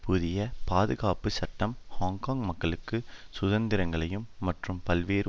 புதிய பாதுகாப்பு சட்டம் ஹாங்காங் மக்களுக்கு சுதந்திரங்களையும் மற்றும் பல்வேறு